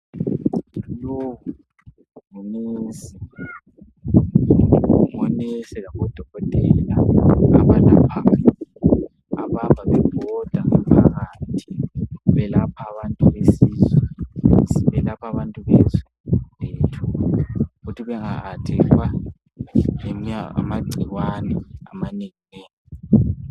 Lowu ngunensi labodokotela bahamba bebhoda phakathi belapha abantu besizwe ukuthi bengattackwa ngamagcikwane amanenginengi.